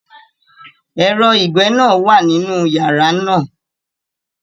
Ẹ̀rọ ìgbẹ́ náà wà nínú yàrá náà.